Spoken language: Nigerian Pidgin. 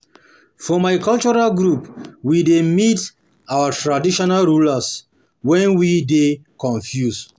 For my cultural group, we dey meet we traditional ruler wen we dey confused. dey confused.